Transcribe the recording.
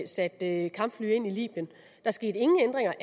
satte kampfly ind i libyen der skete ingen ændringer